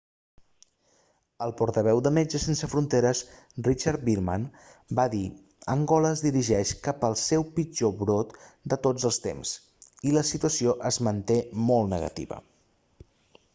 el portaveu de metges sense fronteres richard veerman va dir angola es dirigeix cap al seu pitjor brot de tots els temps i la situació es manté molt negativa